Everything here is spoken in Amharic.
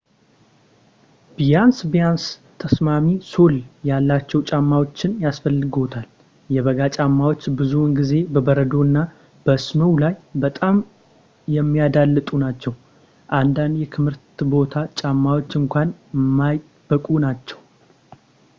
ቢያንስ ቢያንስ ተስማሚ ሶል ያላቸው ጫማዎችን ያስፈልግዎታል። የበጋ ጫማዎች ብዙውን ጊዜ በበረዶ እና በስኖው ላይ በጣም የሚያዳልጡ ናቸው ፣ አንዳንድ የክረምት ቦት ጫማዎች እንኳን የማይበቁ ናቸው